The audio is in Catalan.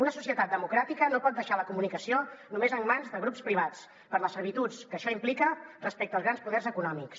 una societat democràtica no pot deixar la comunicació només en mans de grups privats per les servituds que això implica respecte dels grans poders econòmics